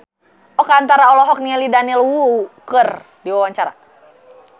Oka Antara olohok ningali Daniel Wu keur diwawancara